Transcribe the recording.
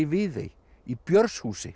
Viðey í